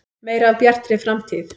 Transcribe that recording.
Meira af Bjartri framtíð.